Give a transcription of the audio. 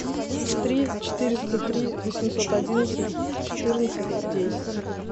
три четыреста три восемьсот одиннадцать четырнадцать десять